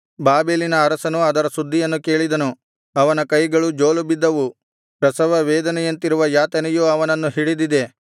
ಬಾಬೆಲಿನ ಅರಸನು ಅದರ ಸುದ್ದಿಯನ್ನು ಕೇಳಿದನು ಅವನ ಕೈಗಳು ಜೋಲುಬಿದ್ದವು ಪ್ರಸವವೇದನೆಯಂತಿರುವ ಯಾತನೆಯು ಅವನನ್ನು ಹಿಡಿದಿದೆ